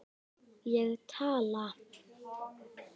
Ég tala.